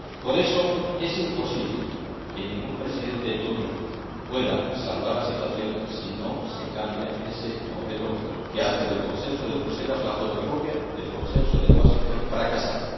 Por eso, es imposible que un Presidente de turno pueda salvar la situación si no se cambia ese modelo que hace del consenso de Bruselas la fotocopia del Consenso de Washington fracasado.